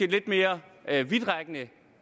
lidt mere vidtrækkende